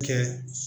Kɛ